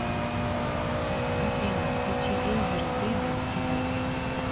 афина включи эйзера фридом ти ви